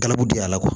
Kalabugu dayɛlɛ